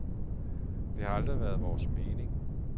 Det har aldrig været vores mening.